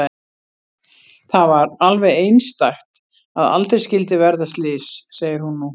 Það var alveg einstakt að aldrei skyldi verða slys, segir hún nú.